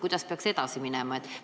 Kuidas peaks edasi minema?